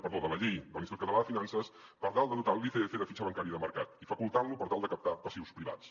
perdó de la llei de l’institut català de finances per tal de dotar l’icf de fitxa bancària de mercat i facultant lo per tal de captar passius privats